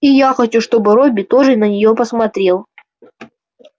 и я хочу чтобы робби тоже на нее посмотрел